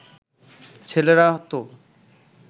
ছেলেরা তো